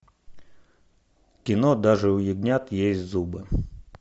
кино даже у ягнят есть зубы